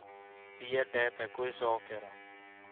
Ndiendte kwĩcokera